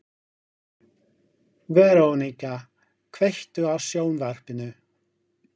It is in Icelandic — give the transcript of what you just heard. Verónika, kveiktu á sjónvarpinu.